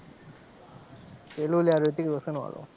પેલું લ્યા રિતિક રોશનવાળું.